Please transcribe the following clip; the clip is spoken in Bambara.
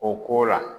O ko la